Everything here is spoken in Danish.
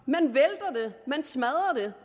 man smadrer